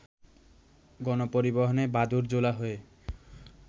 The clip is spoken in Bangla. গণপরিবহনে বাদুড়-ঝোলা হয়ে